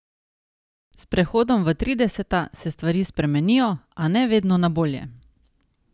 S prehodom v trideseta se stvari spremenijo, a ne vedno na bolje.